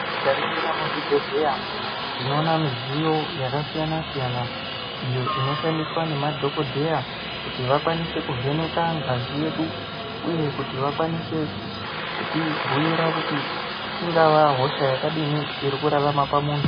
Teiningira muzvibhehleya tinoona midziyo yakasiyana siyana idzo dzinoshandiswa nemadhokhodheya kuti vakwanise kuvheneka ngazi yedu uye kuti vakwanise kutibhuira kuti ingava hosha yakadini inorarama pamuntu.